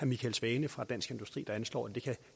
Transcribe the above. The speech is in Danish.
michael svane fra dansk industri anslår at det kan